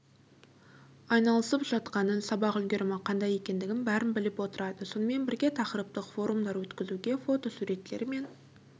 айналысып жатқанын сабақ үлгерімі қандай екендігін бәрін біліп отырады сонымен бірге тақырыптық форумдар өткізуге фотосуреттермен